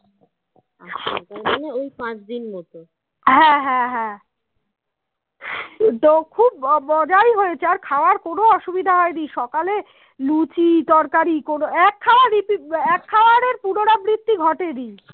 লুচি তরকারি কোনো এক খাওয়া Repeat এক খাবার এর পুনরাবৃত্তি ঘটেনি